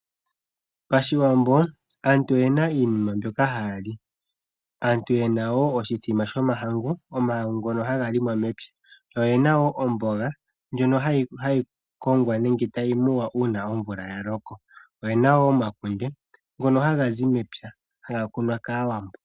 Pashiwambo aantu oyena iinima mbyoka haya li, aantu yena osimbombo shomahangu ngono haga longwa mepya yo oyena wo omboga ndjono hayi muwa una omvula yaloko nomakunde ngono haga zi mepya haga kunwa kAawambo.